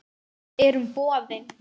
Við erum boðin.